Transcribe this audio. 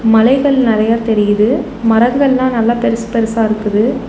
மலைகள் நெறையா தெரியிது மரங்கள்லா நல்லா பெருசு பெருசா இருக்குது.